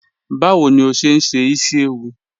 Bawo ni o ṣe n ṣe isi-ewu?